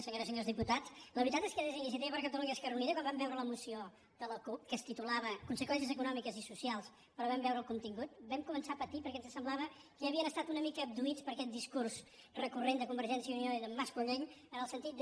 senyores i senyors diputats la veritat és que des d’iniciativa per catalunya esquerra unida quan vam veure la moció de la cup que es titulava conseqüències econòmiques i socials però en vam veure el contingut vam començar a patir perquè ens semblava que havien estat una abduïts per aquest discurs recurrent de convergència i unió i d’en mas colell en el sentit de